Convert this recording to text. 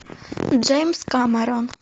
джеймс кэмерон